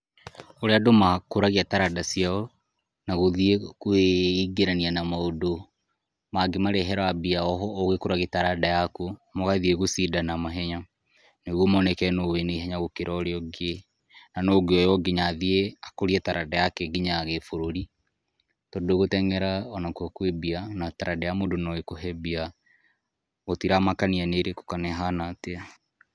Ũrĩa andũ makũragia taranda ciao, na gũthiĩ kwĩingĩrania na maũndũ mangĩmarehera mbia oũgĩkũragia taranda yaku, mũgathiĩ gũcindana mahenya, nĩguo moneke nũ wĩna ihenya gũkĩra ũrĩa ũngĩ, na nũ angĩoywo athiĩ gũkũria taranda yake nginya gĩbũrũri. Tondũ gũteng'era kwĩmbia na taranda ya mũndũ noĩkũhe mbia. Gũtiramakania nĩ ĩrĩkũ kana ĩhana atĩa.